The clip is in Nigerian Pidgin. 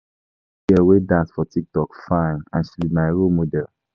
Dat girl wey dey dance for tik tok fine and she be my role model